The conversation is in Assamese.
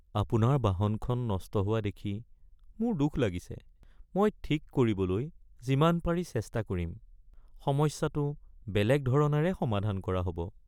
আপোনাৰ বাহনখন নষ্ট হোৱা দেখি মোৰ দুখ লাগিছে; মই ঠিক কৰিবলৈ যিমানপাৰি চেষ্টা কৰিম। সমস্যাটো বেলেগ ধৰণেৰে সমাধান কৰা হ'ব৷